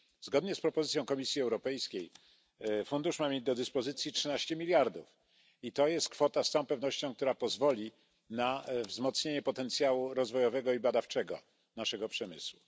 Zgodnie z propozycją Komisji Europejskiej fundusz ma mieć do dyspozycji 13 miliardów euro i jest to z całą pewnością kwota która pozwoli na wzmocnienie potencjału rozwojowego i badawczego naszego przemysłu.